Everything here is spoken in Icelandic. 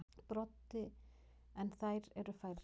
Broddi: En þær eru færri.